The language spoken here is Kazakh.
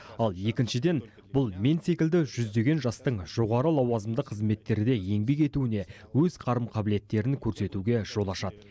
ал екіншіден бұл мен секілді жүздеген жастың жоғары лауазымды қызметтерде еңбек етуіне өз қарым қабілеттерін көрсетуге жол ашады